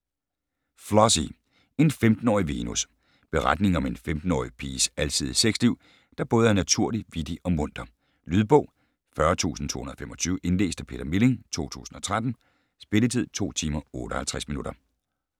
Flossie: en femtenårig Venus Beretningen om en 15-årige piges alsidige sex-liv, der både er naturlig, vittig og munter. Lydbog 40225 Indlæst af Peter Milling, 2013. Spilletid: 2 timer, 58 minutter.